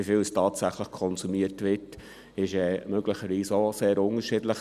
Wie viel tatsächlich konsumiert wird, ist möglicherweise auch sehr unterschiedlich.